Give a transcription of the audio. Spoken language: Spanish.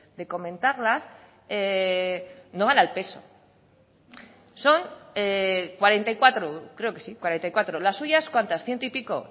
de comentarlas no van al peso son cuarenta y cuatro creo que sí cuarenta y cuatro las suyas cuántas ciento y pico